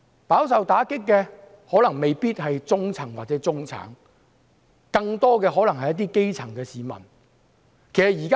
飽受打擊的可能未必是中層或中產，更可能是一些基層的市民。